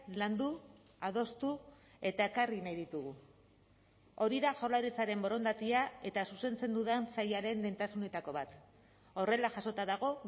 landu adostu eta ekarri nahi ditugu hori da jaurlaritzaren borondatea eta zuzentzen dudan sailaren lehentasunetako bat horrela jasota dago